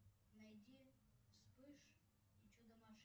найди вспыш и чудо машинки